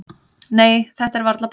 """Nei, þetta er varla blóð."""